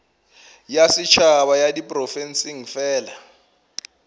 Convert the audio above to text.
ya setšhaba ya diprofense fela